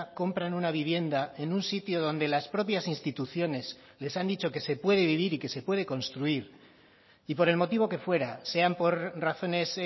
compran una vivienda en un sitio donde las propias instituciones les han dicho que se puede vivir y que se puede construir y por el motivo que fuera sean por razones